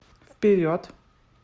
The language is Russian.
вперед